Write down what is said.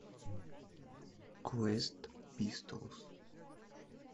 квест пистолс